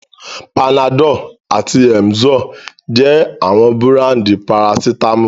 Panadol àti Emzor jẹ́ àwọn búráńdì parasítámọ̀.